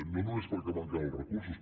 no només perquè manquen els recursos